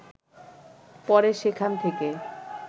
পরে সেখান থেকে